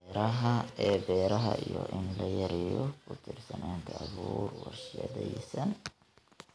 ee beeraha iyo in la yareeyo ku tiirsanaanta abuur warshadaysan.